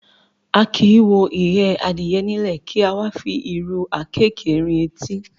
A kì í wo ìyẹ́ adìyẹ nílẹ̀, kí a wá fi ìrù àkéékèé rin etí.